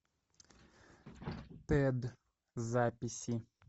тед записи